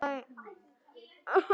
Blessuð sé minning Arnar.